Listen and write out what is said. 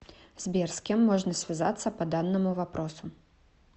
сбер с кем можно связаться по данному вопросу